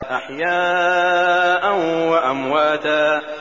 أَحْيَاءً وَأَمْوَاتًا